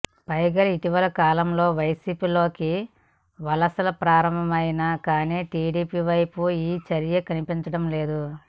పైగా ఇటీవల కాలంలో వైసీపీలోకి వలసలు ప్రారంభమైనాయి కానీ టీడీపీ వైపు ఈ చర్యకనిపించడం లేదు